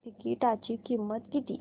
तिकीटाची किंमत किती